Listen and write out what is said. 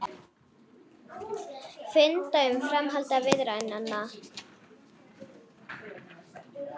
Funda um framhald viðræðnanna